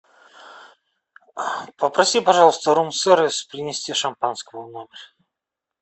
попроси пожалуйста рум сервис принести шампанского в номер